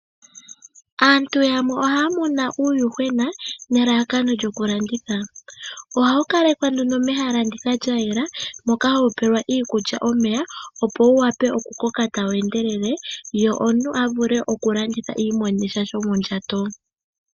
Aantu yamwe ohaa muna uuyuhwena nelalakano lyokulanditha. Oha wu kalekwa nduno mehala lya yela, moka ha wu tulilwa mo iikulya nomeya opo wu wape okukoka ta wu endelele wu landithwepo aantu yi imonene sha shomondjato.